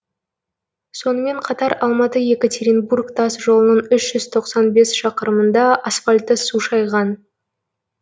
сонымен қатар алматы екатеринбург тас жолының үш жүз тоқсан бес шақырымында асфальтты су шайған